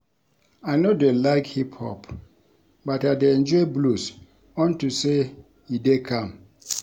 I no dey like hip hop but I dey enjoy blues unto say e dey calm